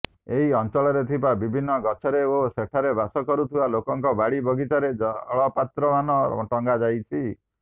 ଏହି ଅଞ୍ଚଳରେ ଥିବା ବିଭିନ୍ନ ଗଛରେ ଓ ସେଠାରେ ବାସ କରୁଥିବା ଲୋକଙ୍କ ବାଡ଼ି ବଗିଚାରେ ଜଳପାତ୍ରମାନ ଟଙ୍ଗାଯାଇଛି